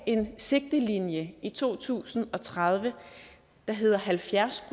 en sigtelinje i to tusind og tredive der hedder halvfjerds